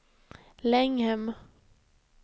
Länghem